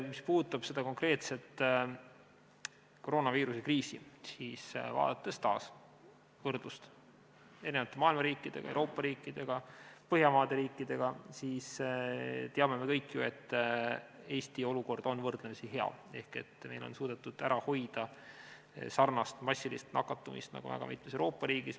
Mis puudutab konkreetset koroonaviiruse kriisi, siis vaadates taas võrdlust maailma riikidega, Euroopa riikidega, Põhjamaade riikidega, me teame ju kõik, et Eesti olukord on võrdlemisi hea, meil on suudetud ära hoida sarnast massilist nakatumist, nagu juhtus väga mitmes Euroopa riigis.